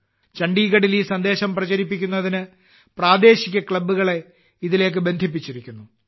ചണ്ഡീഗഢിൽ ഈ സന്ദേശം പ്രചരിപ്പിക്കുന്നതിന് പ്രാദേശിക ക്ലബ്ബുകളെ ഇതിലേക്ക് ബന്ധിപ്പിച്ചിരിക്കുന്നു